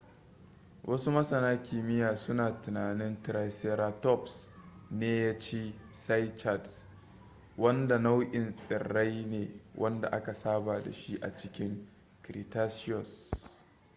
wasu masana kimiyya suna tunanin triceratops ne ya ci cycads wanda nau'in tsirrai ne wanda aka saba da shi a cikin cretaceous